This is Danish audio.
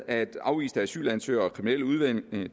at afviste asylansøgere og kriminelle udlændinge